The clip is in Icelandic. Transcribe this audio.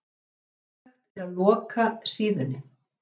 Ómögulegt að loka síðunni